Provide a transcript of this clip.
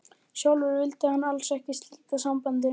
Sjálfur vildi hann alls ekki slíta sambandinu.